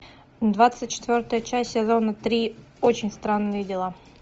двадцать четвертая часть сезона три очень странные дела